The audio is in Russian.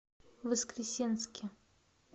воскресенске